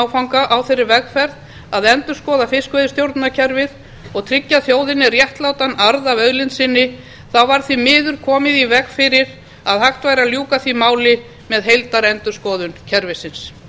áfanga á þeirri vegferð að endurskoða fiskveiðistjórnarkerfið og tryggja þjóðinni réttlátan arð af auðlind sinni var því miður komið í veg fyrir að hægt væri að ljúka því máli með heildarendurskoðun kerfisins